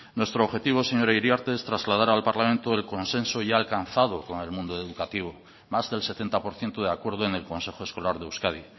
nuestro objetivo señora iriarte es trasladar al parlamento el consenso ya alcanzado con el mundo educativo más del setenta por ciento de acuerdo en el consejo escolar de euskadi